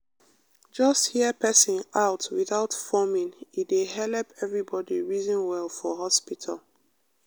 just hear person out without forming e dey helep everybody reason well for hospital.